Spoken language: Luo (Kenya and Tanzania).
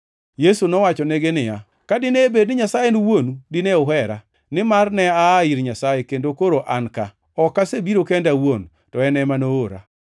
Yesu nowachonegi niya, “Ka dine bed ni Nyasaye en Wuoru, dine uhera, nimar ne aa ir Nyasaye kendo koro an ka, ok asebiro kenda awuon, to en ema noora.